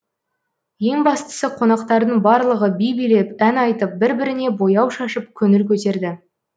ең бастысы қонақтардың барлығы би билеп ән айтып бір біріне бояу шашып көңіл көтерді